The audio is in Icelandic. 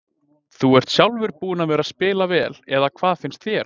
Þú ert sjálfur búinn að vera spila vel eða hvað finnst þér?